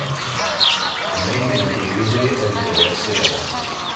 найди на телевизоре нтв сериал